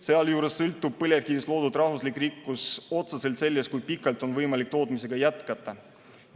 Sealjuures sõltub põlevkivist loodud rahvuslik rikkus otseselt sellest, kui pikalt on võimalik tootmisega jätkata.